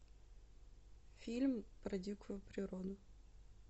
фильм про дикую природу